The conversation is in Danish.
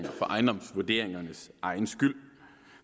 for ejendomsvurderingernes egen skyld